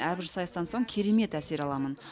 әрбір сайыстан соң керемет әсер аламын